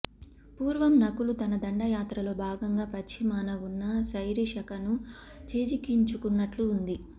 పూర్వం నకులు తన దండయాత్రలో భాగంగా పశ్చిమాన వున్న సైరిశకను చేజిక్కించుకున్నట్టు ఉంది